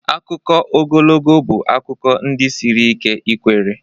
Akụkọ ogologo bụ akụkọ ndi siri ike ikwere.